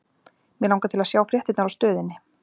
Mig langar til að sjá fréttirnar á Stöðinni.